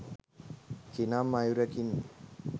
කිනම් අයුරකින්